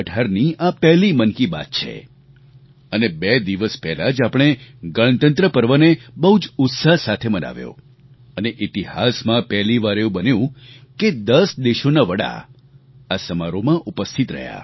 2018ની આ પહેલી મન કી બાત છે અને બે દિવસ પહેલાં જ આપણે ગણતંત્ર પર્વને બહુ જ ઉત્સાહ સાથે મનાવ્યો અને ઇતિહાસમાં પહેલી વાર એવું બન્યું કે 10 દેશોના વડા આ સમારોહમાં ઉપસ્થિત રહ્યા